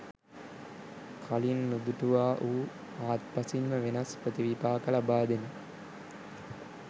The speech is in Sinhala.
කලින් නුදුටුවා වූ හාත්පසින්ම වෙනස් ප්‍රතිවිපාක ලබා දෙන